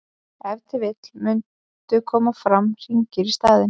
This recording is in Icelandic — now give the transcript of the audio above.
ef til vill mundu koma fram hringir í staðinn